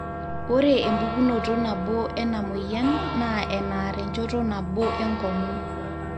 ore empukunoto nabo ena mweyian naa enaar enjoto nabo enkong'u